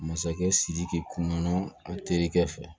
Masakɛ sidiki kunna a terikɛ fɛ